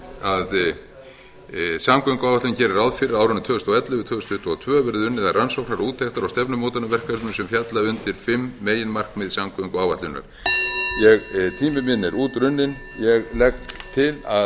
að samgönguáætlun gerir ráð fyrir að á árunum tvö þúsund og ellefu til tvö þúsund tuttugu og tvö verði unnið að rannsóknar úttektar og stefnumótunarverkefnum sem falla undir fimm meginmarkmið samgönguáætlunar tími minn er útrunninn ég legg til að